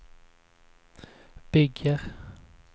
bygger